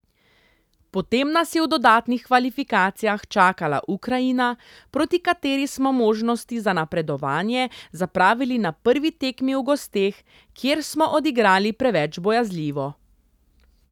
Potem nas je v dodatnih kvalifikacijah čakala Ukrajina, proti kateri smo možnosti za napredovanje zapravili na prvi tekmi v gosteh, kjer smo odigrali preveč bojazljivo.